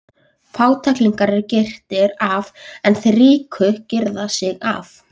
Fátæklingarnir eru girtir af en þeir ríku girða sig af.